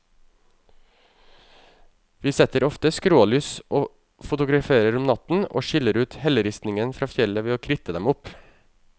Vi setter ofte skrålys og fotograferer om natten, og skiller ut helleristningen fra fjellet ved å kritte dem opp.